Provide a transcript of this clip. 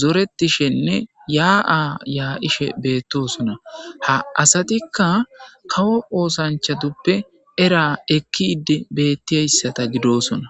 zoretishenne yaa7a yaa7ishe beettosona ha asatikka kawo oosanchatuppe era ekki idi bettiyayssata gidosona